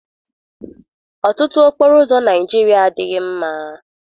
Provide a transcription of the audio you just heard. Ọtụtụ okporoụzọ Naịjirịa adịghị mma.